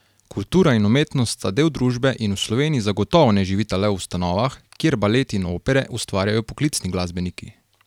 Kultura in umetnost sta del družbe in v Sloveniji zagotovo ne živita le v ustanovah, kjer balet in opere ustvarjajo poklicni glasbeniki.